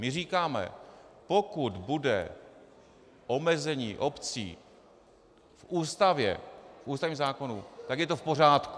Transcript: My říkáme: Pokud bude omezení obcí v Ústavě, v ústavním zákonu, tak je to v pořádku.